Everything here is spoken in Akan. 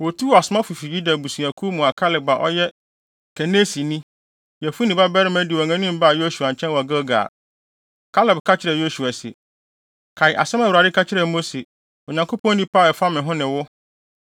Wotuu asomafo fi Yuda abusuakuw mu a Kaleb a ɔyɛ Kenesini, Yefune babarima di wɔn anim baa Yosua nkyɛn wɔ Gilgal. Kaleb ka kyerɛɛ Yosua se, “Kae asɛm a Awurade ka kyerɛɛ Mose, Onyankopɔn nipa, a ɛfa me ne wo ho, bere a na yɛwɔ Kades-Barnea no.